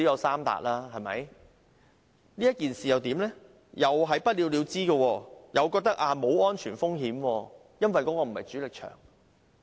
是否不了了之，港鐵公司認為沒有安全風險，因為該幅牆並非主力牆？